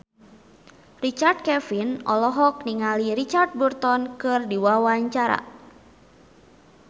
Richard Kevin olohok ningali Richard Burton keur diwawancara